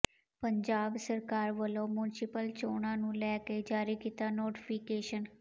ਪੰਜਾਬ ਸਰਕਾਰ ਵੱਲੋਂ ਮੁੰਸਿਪਲ ਚੋਣਾਂ ਨੂੰ ਲੈਕੇ ਜਾਰੀ ਕੀਤਾ ਨੋਟੀਫਿਕੇਸ਼ਨ